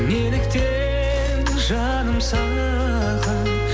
неліктен жаным саған